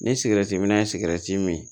Ni sigɛriti minna ye sigɛrɛti min